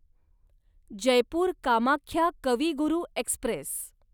Jaipur Kamakhya Kavi Guru Express